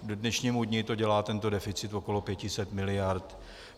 K dnešnímu dni to dělá, tento deficit, okolo 500 miliard.